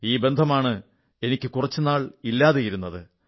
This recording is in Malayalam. ഈ ബന്ധമാണ് എനിക്ക് കുറച്ചുനാൾ ഇല്ലാതെയിരുന്നത്